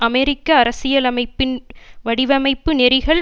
அமெரிக்க அரசியலமைப்பின் வடிவமைப்பு நெறிகள்